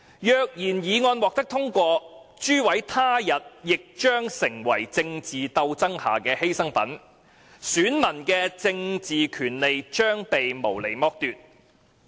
若然議案獲得通過，諸位他日亦將成為政治鬥爭下的犧牲品，選民的政治權利將被無理剝奪。